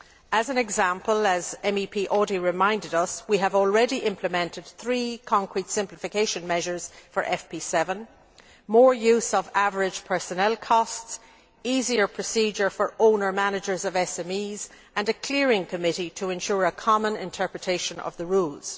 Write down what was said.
As an example, as Mr Audy reminded us, we have already implemented three concrete simplification measures for FP7 more use of average personnel costs, easier procedures for owner managers of SMEs, and a clearing committee to ensure a common interpretation of the rules.